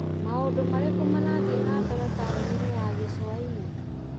Maũndũ marĩkũ marathiĩ na mbere taũni-inĩ ya Gĩcũa-inĩ ?